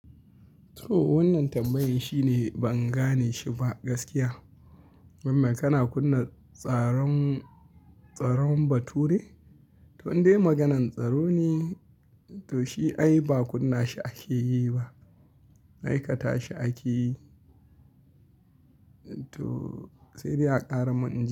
To wannan tambayan shi ne ban gane shi ba gaskiya. Wai me kana kunna tsaron, tsaron bature? To dai maganan tsaro ne, to shi ai ba kunna shi ake yi ba. Aikata shi ake yi. To sai dai a ƙara mun inji.